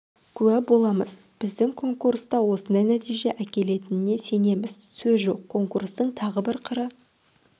куә боламыз біздің конкурс та осындай нәтиже әкелетініне сенеміз сөз жоқ конкурстың тағы бір қыры